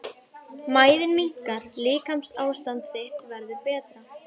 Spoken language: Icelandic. Mæðin minnkar- líkamsástand þitt verður betra.